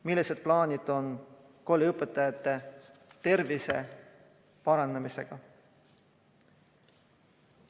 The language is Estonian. Millised plaanid on kooliõpetajate tervise parandamisega?